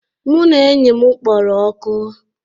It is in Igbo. Mụ na enyi m kpọrọ oku